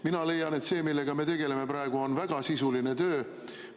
Mina leian, et see, millega me praegu tegeleme, on väga sisuline töö.